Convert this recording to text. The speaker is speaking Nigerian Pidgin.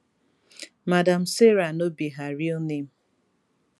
madam sarah no be her real name